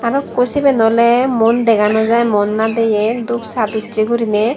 arow ikko seben oley muon dega naw jaai muon nadeye dup sat ussey guriney.